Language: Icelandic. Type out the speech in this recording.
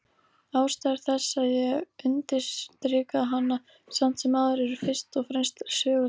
Ástæður þess að ég undirstrika hana samt sem áður eru fyrst og fremst sögulegar.